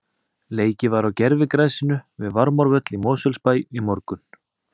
Leikið var á gervigrasinu við Varmárvöll í Mosfellsbæ í morgun.